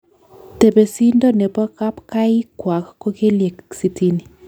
Tepesindo nebo kapkapaik kwak ko kelyek sitini.